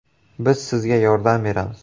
Biz Sizga yordam beramiz.